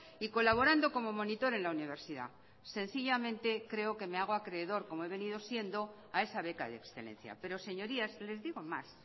y colaborando como monitor en la universidad sencillamente creo que me hago acreedor como he venido siendo a esa beca de excelencia pero señorías les digo más